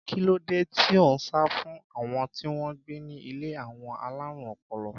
Kí ló dé tí ó ń sá fún àwọn tí wọ́n gbé ní ilé àwọn alárùn ọpọlọ?